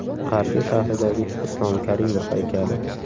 Qarshi shahridagi Islom Karimov haykali .